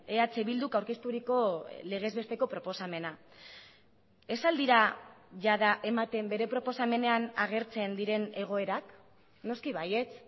eh bilduk aurkezturiko legez besteko proposamena ez al dira jada ematen bere proposamenean agertzen diren egoerak noski baietz